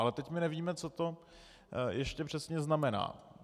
Ale teď my nevíme, co to ještě přesně znamená.